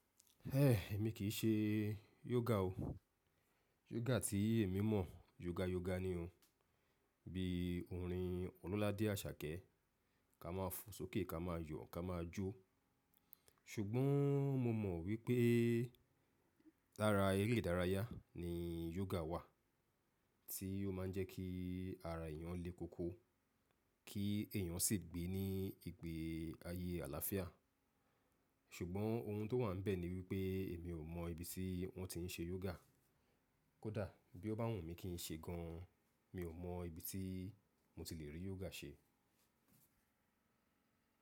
Emi ki se yoga oo. Yoga tí èmi mọ̀ yoga yoga ni o. Bí orin Ololade Asake, ká máa fo sókè, ká máa yọ̀, ká máa jó. Ṣùgbọ́n mo mo wípé lára eré ìdárayá ni yoga wà, tí ó máa ń jẹ́ kí ara èèyàn le koko, kí èèyàn sì gbé ní ìgbé ayé àlàáfíà. Ṣùgbọ́n ohun tó wà níbẹ̀ ni wípé èmi ò mọ ibi tí wọ́n ti ń ṣe yoga. Kódà bí ó bá wùn mí kí n ṣe gan, mi ò mọ ibi tí mo ti le rí yoga ṣe.